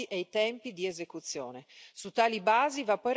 quantificandone i costi e i tempi di esecuzione.